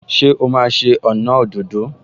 Ṣé o máa ṣe ọnà òdòdó?